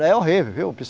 É horrível, viu?